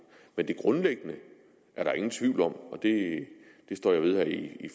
men det grundlæggende er der ingen tvivl om det står jeg ved her i